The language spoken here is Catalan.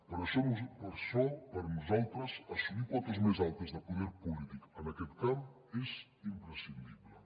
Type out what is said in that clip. per això per nosaltres assolir cotes més altes de poder polític en aquest camp és imprescindible